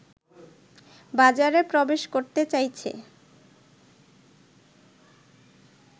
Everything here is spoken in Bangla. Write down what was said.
বাজারে প্রবেশ করতে চাইছে